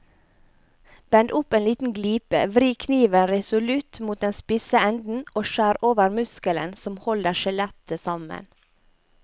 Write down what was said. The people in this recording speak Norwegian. Bend opp en liten glipe, vri kniven resolutt mot den spisse enden og skjær over muskelen som holder skjellet sammen.